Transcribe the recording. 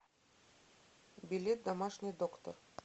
билет домашний доктор